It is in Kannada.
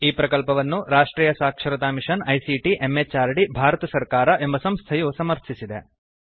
ಈ ಪ್ರಕಲ್ಪವನ್ನು ರಾಷ್ಟ್ರಿಯ ಸಾಕ್ಷರತಾ ಮಿಶನ್ ಐಸಿಟಿ ಎಂಎಚಆರ್ಡಿ ಭಾರತ ಸರ್ಕಾರ ಎಂಬ ಸಂಸ್ಥೆಯು ಸಮರ್ಥಿಸಿದೆ